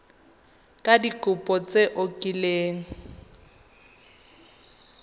ka dikopo tse o kileng